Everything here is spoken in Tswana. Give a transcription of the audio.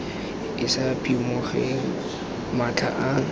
e sa phimogeng matlha a